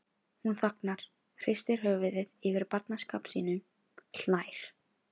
Hún þagnar, hristir höfuðið yfir barnaskap sínum, hlær.